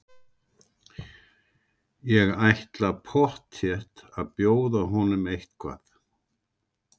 Ég ætla pottþétt að bjóða honum eitthvað.